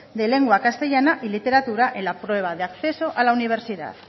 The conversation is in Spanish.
de lengua castellana y literatura en la prueba de acceso a la universidad